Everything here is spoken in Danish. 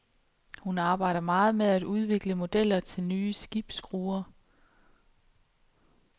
Hun arbejder meget med at udvikle modeller til nye skibsskruer.